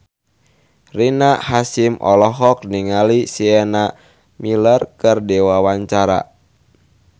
Rina Hasyim olohok ningali Sienna Miller keur diwawancara